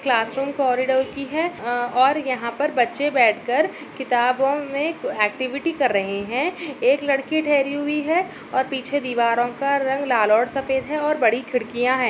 Classroom corridor की है और अ यहां पर बच्चे बैठ कर किताबों में एक्टिविटी कर रहे हैं एक लड़की ठहरी हुई है और पीछे दीवारों का रंग लाल और सफ़ेद है और बड़ी खिड़कियां हैं।